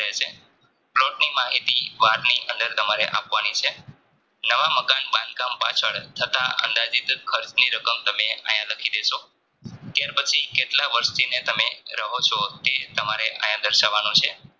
plot ની માહિતી વારની અંદર તમારે આપવાની છે. નવા મકાન બાંધકામ પાછળ છતાં અંદાજિત ખર્ચની રકમ આયા લખી દેશો ત્યાર પછી કેટલા વર્ષથી તમે રહો છો તે તમારે દર્શવવાનું છે.